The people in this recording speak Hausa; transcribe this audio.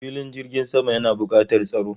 Filin jirgin sama yana bukatar tsaro